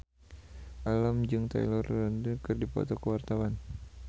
Alam jeung Taylor Lautner keur dipoto ku wartawan